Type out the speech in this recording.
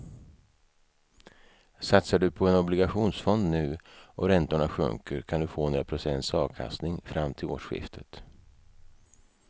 Satsar du på en obligationsfond nu och räntorna sjunker kan du få några procents avkastning fram till årsskiftet.